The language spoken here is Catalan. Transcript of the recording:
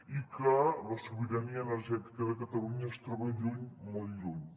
i que la sobirania energètica de catalunya es troba lluny molt lluny